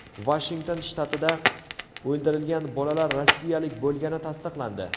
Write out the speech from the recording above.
Vashington shtatida o‘ldirilgan bolalar rossiyalik bo‘lgani tasdiqlandi.